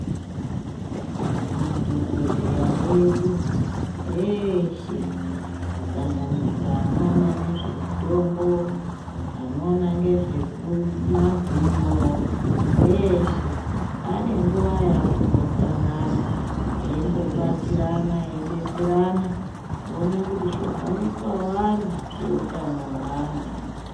Madhokodheya edu eshe kusanganisira anoona nezvemutombo anoona ngezvekumazino eshe anenguva yaanombosangana eimbobatsirana eidetserana oona kuti zvohambiswa wani zveutano weanhu.